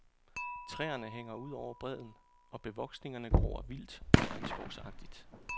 Træerne hænger ud over bredden, og bevoksningerne gror vildt og regnskovsagtigt.